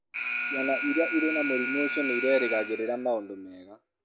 Ciana iria irĩ na mũrimũ ũcio nĩ irerĩgagĩrĩra maũndũ mega.